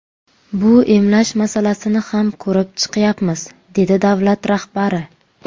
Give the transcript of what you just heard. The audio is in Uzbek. Bu emlash masalasini ham ko‘rib chiqyapmiz”, dedi davlat rahbari.